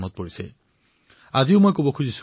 আত্মনিৰ্ভৰ কৰি তোলাৰ পথ গান্ধীজীয়ে প্ৰদৰ্শিত কৰিছিল